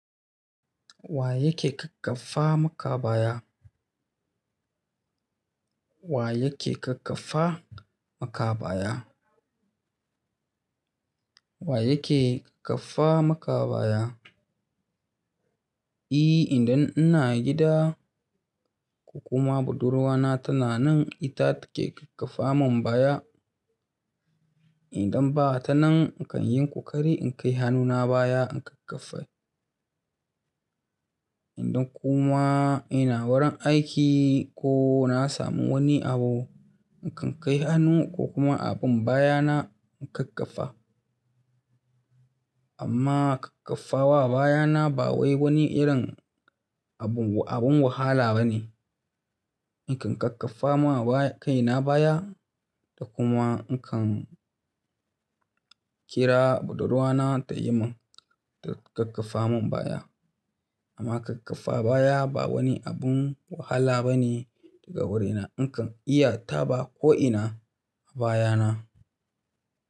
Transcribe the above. Wa yake ƙaƙƙafa maka baya? Wa yake ƙaƙƙafa makabaya? Wa yake ƙaƙƙafa makabaya? E idan ina gida ko kuma budurwana tana nan ita take ƙaƙƙafa mun baya. Idan ba ta nan, in kan yi ƙoƙari in kai hannuna baya in ƙaƙƙafe. Idan kuma ina wurin aiki ko na samu wani abu, in kan kai hannu ko kuma abin baya na in ƙaƙƙafa. Amma ƙaƙƙafa wa baya na ba wai wani irin abun wahala ba ne. In kan ƙaƙƙafa kai na baya da kuma in kan kira budurwana ta yi mun ta ƙaƙƙafa mun baya. Amma ƙaƙƙafa baya ba wani abin wahala ba ne daga wurina. In kan iya taba ko'ina a baya na.